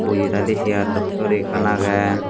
boji taidey sear dokkey guri ekkan agey.